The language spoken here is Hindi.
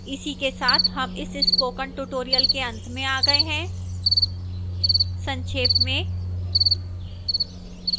इसी के साथ हम इस spoken tutorial के अंत में आ गए हैं संक्षेप में